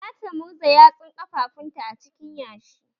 Zata murza yatsun ƙafafunta a cikin yashi.